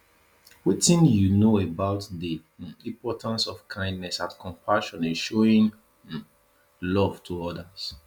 wetin you know about di um importance of kindness and compassion in showing um love to odas